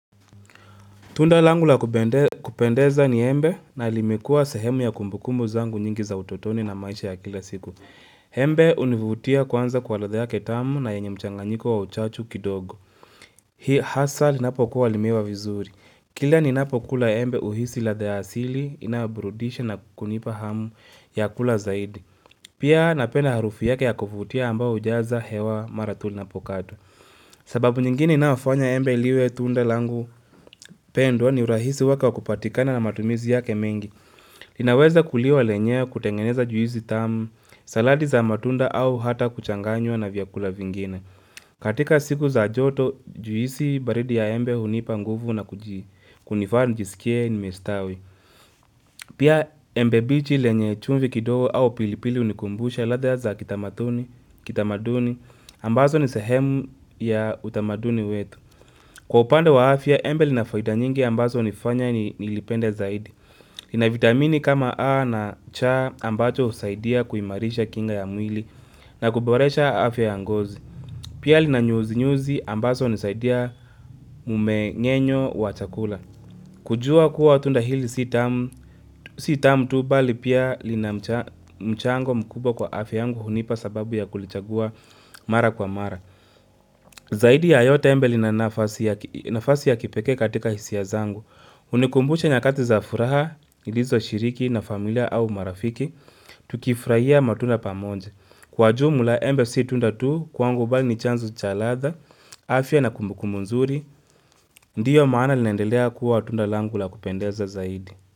Tunda langu la kupendeza ni embe na limekua sehemu ya kumbukumbu zangu nyingi za utotoni na maisha ya kila siku. Embe univutia kwanza kwa ladha yake tamu na yenye mchanganyiko wa uchachu kidogo. Hii hasa linapokuwa limeiva vizuri. Kila ninapokula embe uhisi ladha ya asili, inayoburudisha na kunipa hamu ya kula zaidi. Pia napenda harufu yake ya kuvutia ambao hujaza hewa mara tu linapokatwa. Sababu nyingine inayofanya embe liwe tunda langu pendwa ni urahisi wake wa kupatikana na matumizi yake mengi. Linaweza kuliwa lenyewe kutengeneza juizi tamu, saladi za matunda au hata kuchanganywa na vyakula vingine. Katika siku za joto, juisi baridi ya embe hunipa nguvu na kunifanya nijisikie nimestawi. Pia embe bichi lenye chumvi kidogo au pilipili hunikumbusha ladha za kitamatuni, kitamaduni, ambazo ni sehemu ya utamaduni wetu. Kwa upande wa afya, embe lina faida nyingi ambazo hunifanya nilipende zaidi. Lina vitamini kama A na C ambacho husaidia kuimarisha kinga ya mwili na kuboresha afya ya ngozi. Pia lina nyuzi nyuzi ambaso hunisaidia mmeng'enyo wa chakula. Kujua kuwa tunda hili si tamu tu bali pia lina mchango mkubwa kwa afya yangu hunipa sababu ya kulichagua mara kwa mara Zaidi ya yote embe lina nafasi ya kipekee katika hisia zangu hunikumbusha nyakati za furaha nilizoshiriki na familia au marafiki Tukifraia matunda pamoja Kwa jumla embe si tunda tu kwangu bali ni chanzo cha ladha afya na kumbukumbu nzuri Ndiyo maana linaendelea kuwa tunda langu la kupendeza zaidi.